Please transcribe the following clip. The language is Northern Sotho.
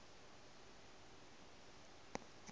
se a otlwa go a